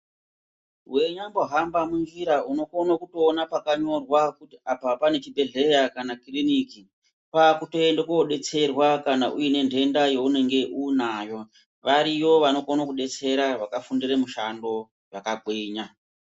Weinyambohamba munjira unokono kutoona pakanyorwa kuti apa pane chibhedhleya kana kiriniki. Kwakutoende kodetserwa kana une ndenda yaunenge uinayo. Variyo vanokono kudetsera vakafundire mushando zvakagwinya.